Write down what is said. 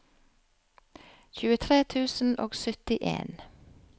tjuetre tusen og syttien